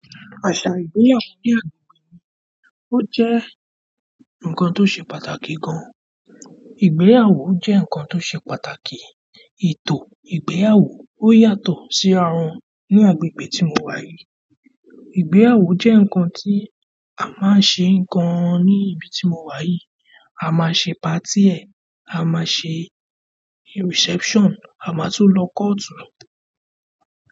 Àṣà ìgbéyàwó ní agbègbè mi ó jẹ́ ǹkan tó ṣe pàtàkì gan-an. Ìgbéyàwó jẹ́ ǹkan tó ṣe pàtàkì. Ètò ìgbéyàwó o yàtọ̀ si rá wọn ni agbègbè tí mo wa yìí. Ìgbéyàwó jẹ nkán tí a máa n ṣe gán ní ibí tí mo wà yí. A máa ṣe party ẹ̀, a máa ṣe reception, a máa tún lọ court.